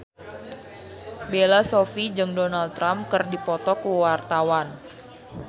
Bella Shofie jeung Donald Trump keur dipoto ku wartawan